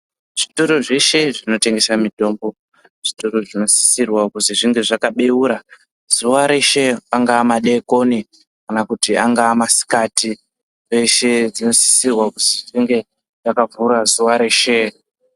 Zvitoro zveshe zvinotengesa mitombo, zvitoro zvinosisirwa kuti zvinge zvakabewura zuva reshe. Angava madekoni, kana kuti angava masikati, peshe zvinosisirwa kuti zvinge zvakavhura zuva reshe.